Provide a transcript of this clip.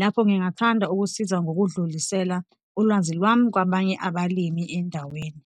Lapho ngingathanda ukusiza ngokudlulisela ulwazi lwami kwabanye abalimi endaweni.